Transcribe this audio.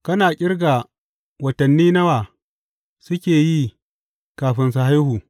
Kana ƙirga watanni nawa suke yi kafin su haihu?